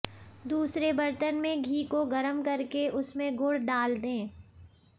दूसरे बर्तन में घी को गरम करके उसमें गुड़ डाल दें